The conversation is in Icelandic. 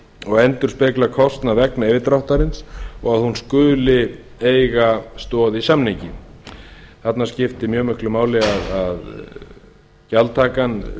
og endurspegla kostnað vegna yfirdráttarins og að hún skuli eiga stoð í samningi þarna skiptir mjög miklu máli að gjaldtakan